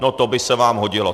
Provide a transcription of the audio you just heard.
No to by se vám hodilo.